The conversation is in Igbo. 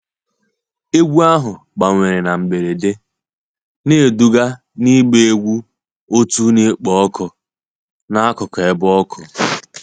Egwu ahụ gbanwere na mberede, na-eduga n'ịgba egwu otu na-ekpo ọkụ n'akụkụ ebe ọkụ